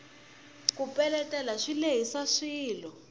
ku peletela swi lehisa swilo